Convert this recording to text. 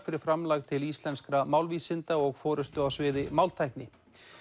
fyrir framlag til íslenskra málvísinda og forystu á sviði máltækni